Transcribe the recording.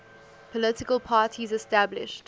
political parties established